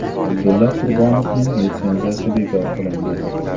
Abdulla Qurbonovning litsenziyasi bekor qilindi.